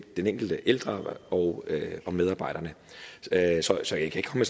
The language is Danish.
den enkelte ældre og medarbejderne så jeg kan